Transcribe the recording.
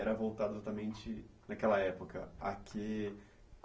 Era voltado exatamente naquela época a quê?